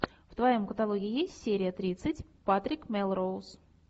в твоем каталоге есть серия тридцать патрик мелроуз